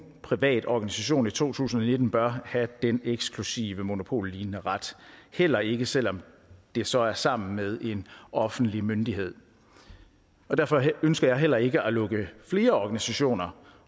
privat organisation i to tusind og nitten bør have den eksklusive monopollignende ret heller ikke selv om det så er sammen med en offentlig myndighed derfor ønsker jeg heller ikke at lukke flere organisationer